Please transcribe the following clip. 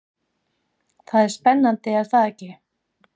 Það er spennandi er það ekki?